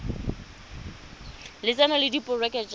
lotseno le diporojeke tsa go